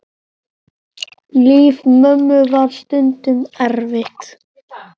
Líf mömmu var stundum erfitt.